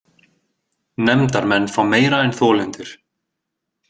Nefndarmenn fá meira en þolendur